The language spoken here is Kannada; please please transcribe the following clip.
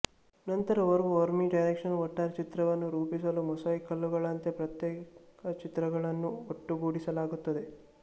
ನಂತರ ಓರ್ವ ಓಮ್ನಿಡೈರೆಕ್ಷನಲ್ ಒಟ್ಟಾರೆ ಚಿತ್ರವನ್ನು ರೂಪಿಸಲು ಮೊಸಾಯಿಕ್ ಕಲ್ಲುಗಳಂತೆ ಪ್ರತ್ಯೇಕ ಚಿತ್ರಗಳನ್ನು ಒಟ್ಟುಗೂಡಿಸಲಾಗುತ್ತದೆ